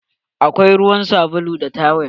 Akwai ruwa, sabulu da tawel.